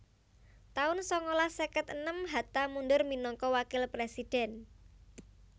taun sangalas seket enem Hatta mundur minangka wakil présidhèn